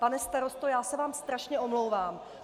Pane starosto, já se vám strašně omlouvám.